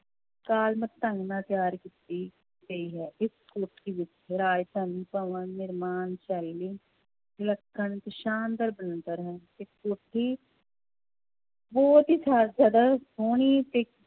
ਢੰਗ ਨਾਲ ਤਿਆਰ ਕੀਤੀ ਗਈ ਹੈ ਇਸ ਕੋਠੀ ਵਿੱਚ ਰਾਜ ਭਵਨ ਨਿਰਮਾਣ ਸ਼ੈਲੀ ਵਿਲੱਖਣ ਤੇ ਸ਼ਾਨਦਾਰ ਬਣਤਰ ਹੈ ਇਸ ਕੋਠੀ ਬਹੁਤ ਹੀ ਜ਼ਿ~ ਜ਼ਿਆਦਾ ਸੋਹਣੀ ਤੇ